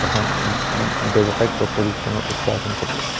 এখন উম উম ব্যৱসায়িক উঠোৱা এখন ফটো ।